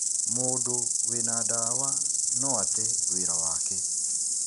Mũndũ wĩna ndawa no ate wĩra wake.